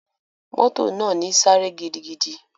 Moto naa ni sáré gidigidi.